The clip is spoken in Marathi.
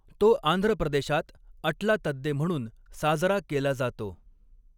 तो आंध्र प्रदेशात अट्ला तद्दे म्हणून साजरा केला जातो.